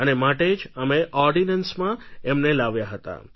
અને માટે જ અમે ઑર્ડિનન્સમાં એમને લાવ્યા હતા